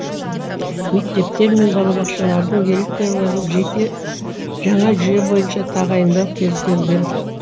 мектептер мен балабақшалардың директорларын жеке жаңа жүйе бойынша тағайындау көзделген